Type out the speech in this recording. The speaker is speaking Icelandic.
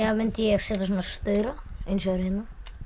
mundi ég setja svona staur á eins og er hérna